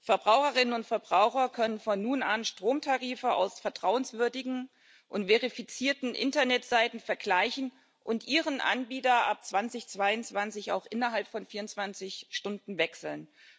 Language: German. Verbraucherinnen und Verbraucher können von nun an Stromtarife aus vertrauenswürdigen und verifizierten Internetseiten vergleichen und ihren Anbieter ab 2022 auch innerhalb von 24 Stunden wechseln.